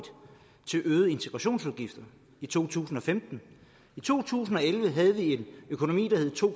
til øgede integrationsudgifter i to tusind og femten i to tusind og elleve havde vi en økonomi der hed to